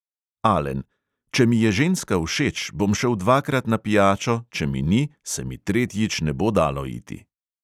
Alen: "če mi je ženska všeč, bom šel dvakrat na pijačo, če mi ni, se mi tretjič ne bo dalo iti!"